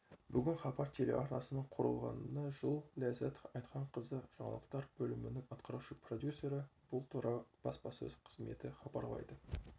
бүгін хабар телеарнасының құрылғанына жыл ләззат айтханқызы жаңалықтар бөлімінің атқарушы продюсері бұл туралы баспасөз қызметі хабарлайды